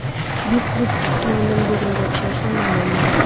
Buyuk klub tomonidan bildirilgan ishonchdan mamnunman.